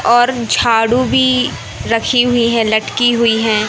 और झाड़ू भी रखी हुईं हैं लटकी हुईं हैं।